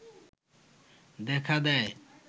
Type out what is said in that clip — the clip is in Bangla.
দেখা দেয়